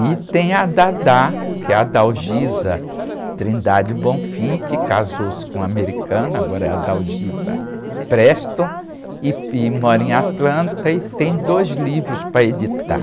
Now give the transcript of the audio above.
E tem a, que é a, que casou-se com um americano, agora é, e, e mora em Atlanta e tem dois livros para editar.